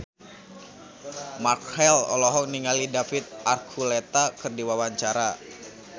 Marchell olohok ningali David Archuletta keur diwawancara